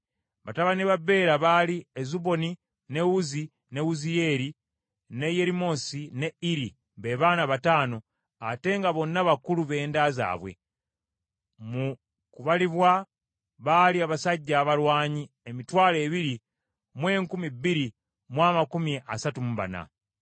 Batabani ba Bera baali Ezuboni, ne Uzzi, ne Wuziyeeri, ne Yerimosi ne Iri, be baana bataano, ate nga bonna bakulu b’enda zaabwe. Mu kubalibwa baali abasajja abalwanyi emitwalo ebiri mu enkumi bbiri mu amakumi asatu mu bana.